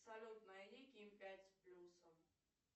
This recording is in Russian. салют найди ким пять с плюсом